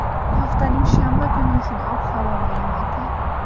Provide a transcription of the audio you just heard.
haftaning shanba kuni uchun ob-havo ma’lumoti.